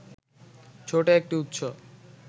ছোট একটি উৎস